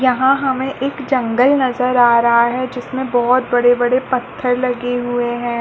यहाँ हमें एक जंगल नजर आ रहा है जिस में बहुत बड़े-बड़े पत्थर लगे हुए हैं।